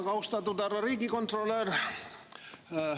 Väga austatud härra riigikontrolör!